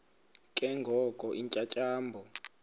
ke ngoko iintyatyambo